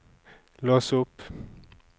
lås opp